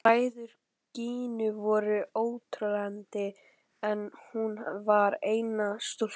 Bræður Gínu voru óteljandi en hún var eina stúlkan.